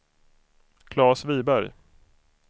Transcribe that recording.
Claes Wiberg